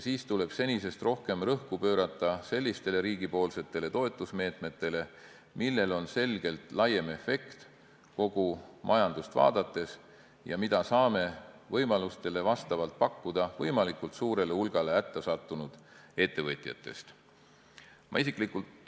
Siis tuleb senisest rohkem rõhku pöörata sellistele riigi toetusmeetmetele, millel on selgelt laiem efekt kogu majandust vaadates ja mida me saame võimalustele vastavalt pakkuda võimalikult suurele hulgale hätta sattunud ettevõtjatest.